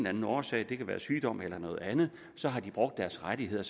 anden årsag det kan være sygdom eller andet så har de brugt deres rettigheder